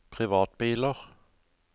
privatbiler